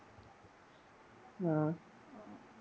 അഹ്